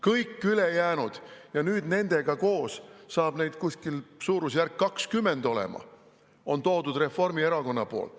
Kõik ülejäänud – nüüd nendega koos saab neid olema suurusjärgus 20 – on toonud siia Reformierakond.